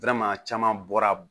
caman bɔra